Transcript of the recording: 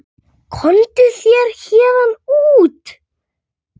Komdu þér héðan út.